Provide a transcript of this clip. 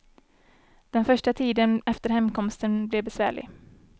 Den första tiden efter hemkomsten blev besvärlig.